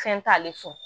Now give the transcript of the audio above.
Fɛn t'ale fɛ